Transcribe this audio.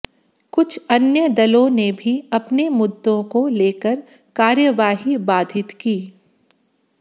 कुछ अन्य दलों ने भी अपने मुद्दों को लेकर कार्यवाही बाधित की